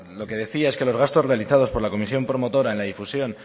lo que decía es que los gastos realizados por la comisión promotora en la difusión